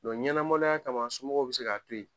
ɲɛnamaloya kama somɔgɔw bi se ka to yen.